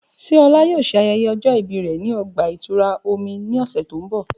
Ṣe Ola yoo ṣe ayẹyẹ ọjọ ibi rẹ ni ọgba-itura omi ni ọsẹ ti n bọ?